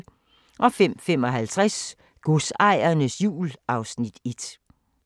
05:55: Godsejernes jul (Afs. 1)